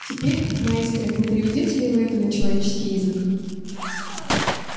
теперь маэстро не переведёте ли вы это на человеческий язык